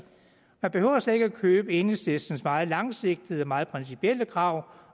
man behøver slet ikke at købe enhedslistens meget langsigtede og meget principielle krav